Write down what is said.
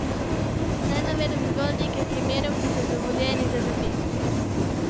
Naj navedem zgolj nekaj primerov, ki so dovoljeni za zapis.